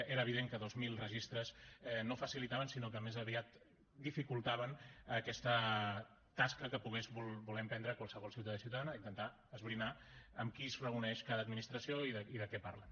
era evident que dos mil registres no ho facilitaven sinó que més aviat dificultaven aquesta tasca que pogués voler emprendre qualsevol ciutadà i ciutadana d’intentar esbrinar amb qui es reuneix cada administració i de què parlen